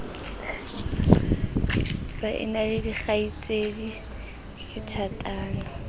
baena le dikgaitsedi ke thatano